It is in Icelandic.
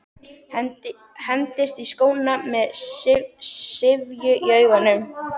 Hendist í skóna með syfju í augunum.